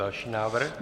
Další návrh.